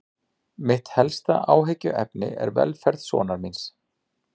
Mitt helsta áhyggjuefni er velferð sonar míns.